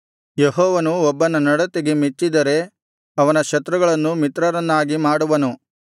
ಯೆಹೋವನು ಒಬ್ಬನ ನಡತೆಗೆ ಮೆಚ್ಚಿದರೆ ಅವನ ಶತ್ರುಗಳನ್ನೂ ಮಿತ್ರರನ್ನಾಗಿ ಮಾಡುವನು